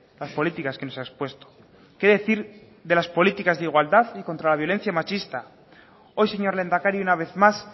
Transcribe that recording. las políticas que nos ha expuesto qué decir de las políticas de igualdad y contra la violencia machista hoy señor lehendakari una vez más